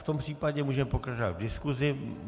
V tom případě můžeme pokračovat v diskuzi.